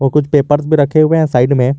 कुछ पेपर्स भी रखे हुए हैं साइड में।